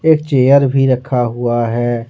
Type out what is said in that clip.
एक चेयर भी रखा हुआ है।